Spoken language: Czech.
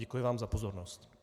Děkuji vám za pozornost.